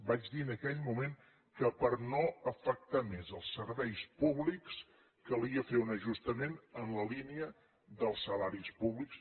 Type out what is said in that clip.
vaig dir en aquell moment que per no afectar més els serveis públics calia fer un ajustament en la línia dels salaris públics